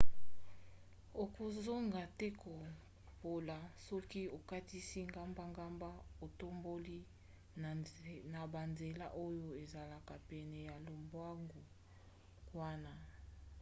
okozanga te kopola soki okatisi gbagba otamboli na banzela oyo ezala pene ya lobwaku wana